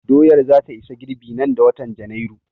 Doyar za ta isa girɓi nan da watan Janairu